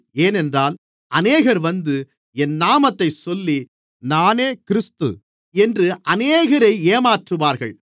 ஏனென்றால் அநேகர் வந்து என் நாமத்தைச் சொல்லி நானே கிறிஸ்து என்று அநேகரை ஏமாற்றுவார்கள்